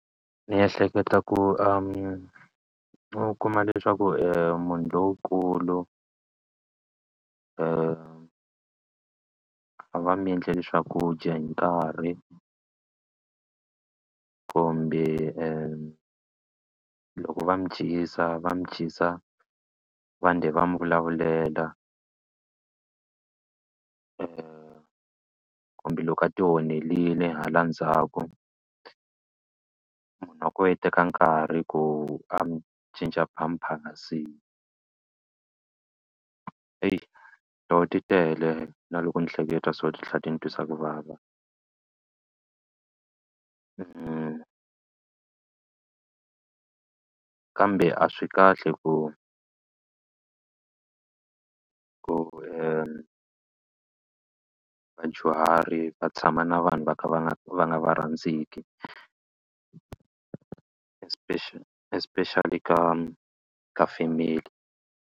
Ni ehleketa ku u kuma leswaku munhu lonkulu a va mi endleli swakudya hi nkarhi kumbe loko va mi dyisa va mi dyisa va [] va mi vulavulela kumbe loko a tionherile hala ndzhaku munhu wa kona i teka nkarhi ku a mi cinca pampers tona ti tele na loko ni hleketa so ti tlhela ti ni twisa ku vava kambe a swi kahle ku ku vadyuhari va tshama na vanhu va kha va nga va nga va rhandzeki especially especially ka ka family.